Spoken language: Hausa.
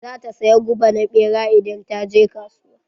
Za ta saya guba na ɓera idan ta je kasuwa.